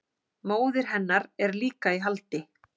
Móðir hennar er líka í haldi